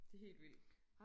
det helt vildt